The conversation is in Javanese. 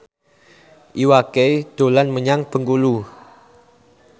Iwa K dolan menyang Bengkulu